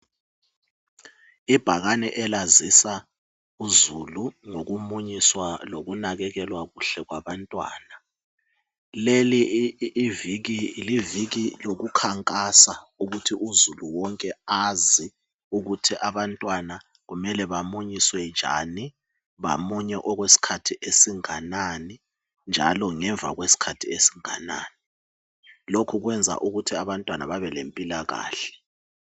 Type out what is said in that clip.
Ibhakane elazisa uzulu ngokumunyiswa lokunakekelwa kuhle kwabantwana. Leli liviki lesibili lokukhankasa ukuthi uzulu wonke azi ukuthi abantwana kumele bamunyiswe njani, bamunye okwesikhathi esinganani, njalo ngemva kwesikhathi esinganani. Lokhu kwenza ukuthi abantwana babe lempilakahle.